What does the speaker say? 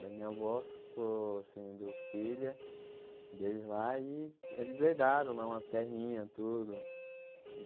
Daí minha avó ficou sendo filha deles lá e eles herdaram lá umas terrinhas, tudo.